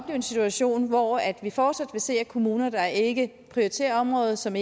en situation hvor vi fortsat vil se kommuner der ikke prioriterer området og som